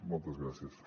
moltes gràcies